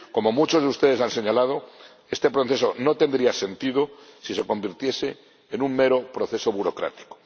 Como muchos de ustedes han señalado, este proceso no tendría sentido si se convirtiese en un mero proceso burocrático.